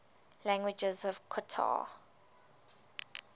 languages of qatar